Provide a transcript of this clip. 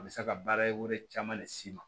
A bɛ se ka baara caman le s'i ma